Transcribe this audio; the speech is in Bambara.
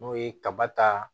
N'o ye kaba ta